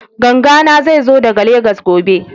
Ganga na zai zo daga Legas gobe